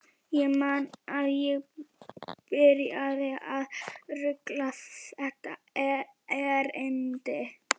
Ég man að ég byrjaði á að raula þetta erindi: